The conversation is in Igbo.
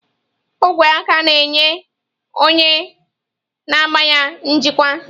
Ogwe aka na-enye onye na-agba ya njikwa.